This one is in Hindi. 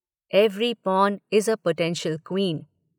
Every pawn is a potential queen'.